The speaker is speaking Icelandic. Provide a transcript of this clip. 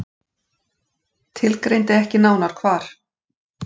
Tilgreindi ekki nánar hvar.